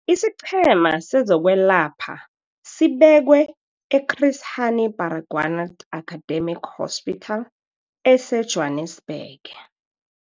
IsiQhema sezokweLapha sibekwe e-Chris Hani Baragwanath Academic Hospital eseJwanisbhege.